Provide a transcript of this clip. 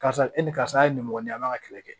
Karisa e ni karisa ye nin mɔgɔ ye a b'a ka kɛlɛ kɛ